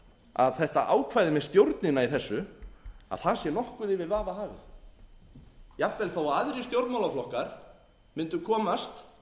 að þetta ákvæði með stjórnina í þessu sé nokkuð yfir vafa hafið jafnvel þó að aðrir stjórnmálaflokkar mundu komast komast